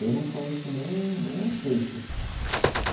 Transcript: Eu não conheço nem nem um terço.